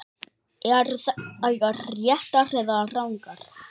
Eru þær réttar eða rangar?